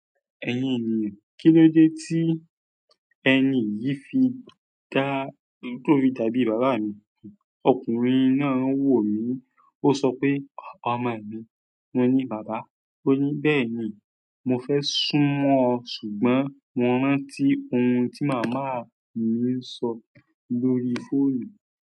"Ẹ̀yin ènìyàn, kí ló dé tí ẹ ni yìí fi dá tó fi dàbí bàbá mi?" Ọkùnrin náà wò mí. Ó sọ pé, "Ọmọ mi." Mo ní, "Bàbá." ó ní bẹ́ẹ̀ni "Mo fẹ́ sún mọ́ ọ ṣùgbọ́n mo rántí ohun tí màmá mi ń sọ lórí fóònù."